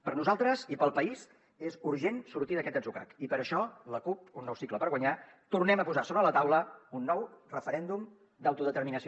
per a nosaltres i per al país és urgent sortir d’aquest atzucac i per això la cup un nou cicle per guanyar tornem a posar sobre la taula un nou referèndum d’autodeterminació